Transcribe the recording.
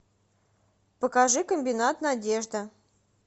покажи комбинат надежды